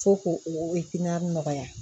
Fo k'o o piŋali nɔgɔya